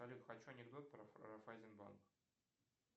салют хочу анекдот про райффайзенбанк